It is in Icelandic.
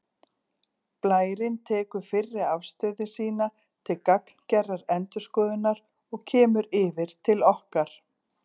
Blærinn tekur fyrri afstöðu sína til gagngerrar endurskoðunar og kemur yfir til okkar